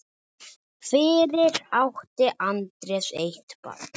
Fyrir átti Andreas eitt barn.